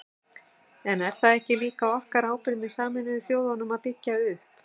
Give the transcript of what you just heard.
En er það ekki líka okkar ábyrgð með Sameinuðu þjóðunum að byggja upp?